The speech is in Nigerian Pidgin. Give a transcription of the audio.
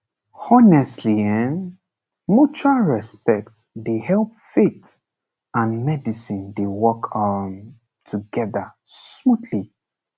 honestly um mutual respect dey help faith and medicine dey work um together smoothly